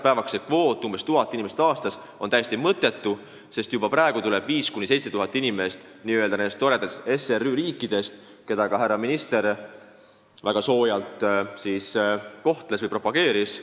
Praegune kvoot – umbes 1000 inimest aastas – on täiesti mõttetu, sest meile on saabunud 5000–7000 inimest nendest n-ö toredatest SRÜ riikidest, keda ka härra minister siin väga soojalt propageeris.